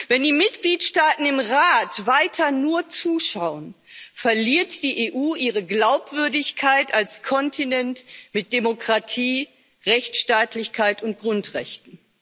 Wenn die Mitgliedstaaten im Rat weiter nur zuschauen, verliert die EU ihre Glaubwürdigkeit als Kontinent mit Demokratie, Rechtsstaatlichkeit und Grundrechten.